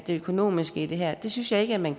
det økonomiske i det her synes jeg ikke at man